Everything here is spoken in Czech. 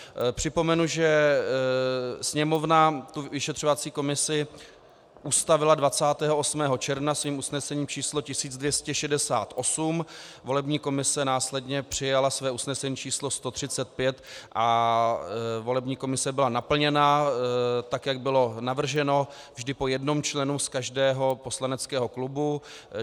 Připomenu, že Sněmovna tu vyšetřovací komisi ustavila 28. června svým usnesením číslo 1268, volební komise následně přijala své usnesení číslo 135 a volební komise byla naplněna, tak jak bylo navrženo, vždy po jednom členu z každého poslaneckého klubu.